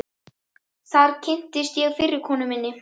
Þar kynntist ég fyrri konu minni